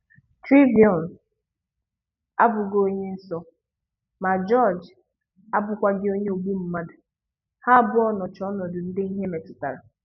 Trayvon abụghị onye nsọ, ma George abụkwaghị onye ogbu mmadụ, Ha abụọ nọcha ọnọdụ ndị ihe metụtara.